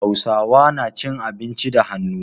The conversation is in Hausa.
Hausawa na cin abinci da hannu.